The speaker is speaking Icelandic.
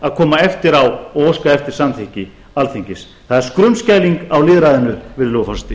að koma eftir á og óska eftir samþykki alþingis það er skrumskæling á lýðræðinu virðulegi forseti